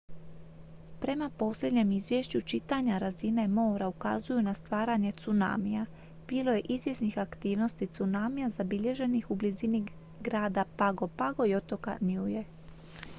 prema posljednjem izvješću čitanja razine mora ukazuju na stvaranje tsunamija bilo je izvjesnih aktivnosti tsunamija zabilježenih u blizini grada pago pago i otoka niue